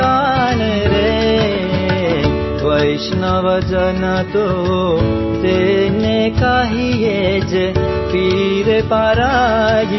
song